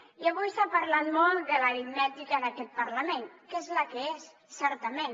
i avui s’ha parlat molt de l’aritmètica d’aquest parlament que és la que és certament